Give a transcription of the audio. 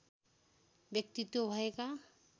व्यक्तित्व भएका